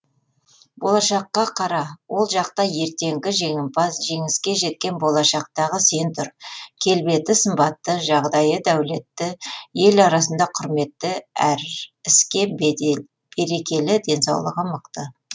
болашаққа қара ол жақта ертеңгі жеңімпаз жеңіске жеткен болашақтағы сен тұр келбеті сымбатты жағдайы дәулетті ел арасында құрметті әр іске берекелі денсаулығы мықты